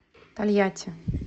тольятти